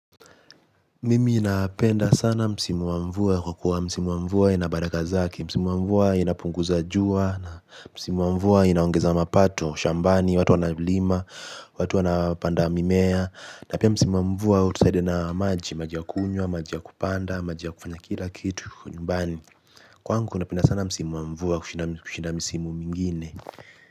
Mimi ninapenda sana msimu wa mvua kwa kua msimu wa mvua ina baraka zake. Msimu wa mvua inapunguza jua na msimu wa mvua inaongeza mapato, shambani, watu wanalima, watu wanapanda mimea, na pia msimu wa mvua hutusaidia na maji, maji ya kunywa, maji ya kupanda, maji ya kufanya kila kitu nyumbani. Kwangu napenda sana msimu wa mvua kushinda misimu mwingine.